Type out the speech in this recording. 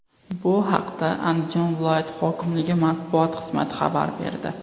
Bu haqda Andijon viloyati hokimligi matbuot xizmati xabar berdi .